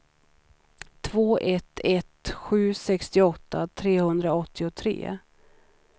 två ett ett sju sextioåtta trehundraåttiotre